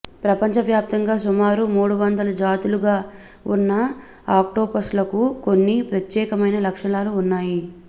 ప్రపంచవ్యాప్తంగా సుమారు మూడువందల జాతులుగా ఉన్న ఆక్టోపస్లకు కొన్ని ప్రత్యేకమైన లక్షణాలు వున్నాయి